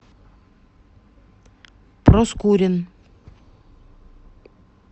проскурин